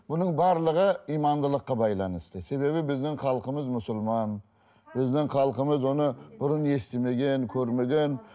бұның барлығы имандылыққа байланысты себебі біздің халқымыз мұсылман біздің халқымыз оны бұрын естімеген көрмеген